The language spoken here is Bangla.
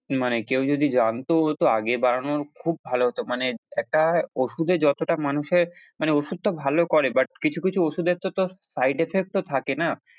মানে কেউ যদি জানতো তো আগে বাড়ানোর খুব ভালো হতো মানে একটা ওষুধে যতটা মানুষের মানে ওষুধটা ভালো করে but কিছু কিছু ওষুধের তো তোর side effect তো থাকে না।